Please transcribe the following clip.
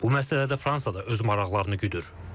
Bu məsələdə Fransa da öz maraqlarını güdür.